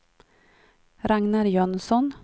Ragnar Jönsson